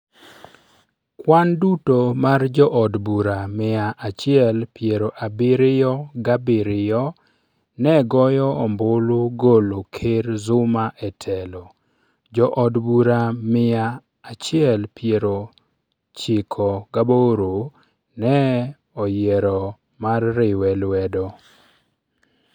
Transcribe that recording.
Kwan duto mar jood bura mia achiel piero abiriyo gabiriyo negoyo ombulu Golo Ker Zuma e telo Jood bura mia achiel piero chiko gaboro ne oyiero mar riwe lwedo.